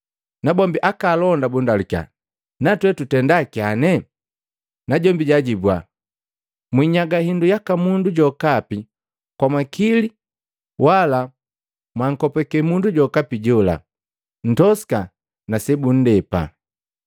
Nabombi aka alonda bundalukya, “Natwe tutenda kyane?” Najombi jaajibua, “Mwinyaga hindu yaka mundu jokapi kwa makili wala mwankopake mundu jokapi jola. Ntosika na sebundepa.”